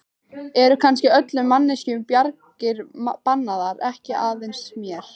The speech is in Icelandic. Eru kannski öllum manneskjum bjargir bannaðar, ekki aðeins mér?